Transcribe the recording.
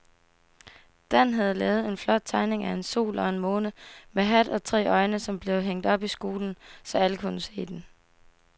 Dan havde lavet en flot tegning af en sol og en måne med hat og tre øjne, som blev hængt op i skolen, så alle kunne se den.